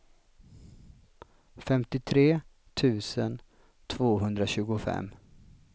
femtiotre tusen tvåhundratjugofem